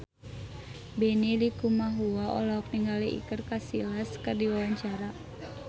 Benny Likumahua olohok ningali Iker Casillas keur diwawancara